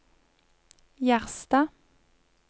Gjerstad